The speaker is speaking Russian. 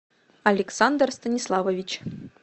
александр станиславович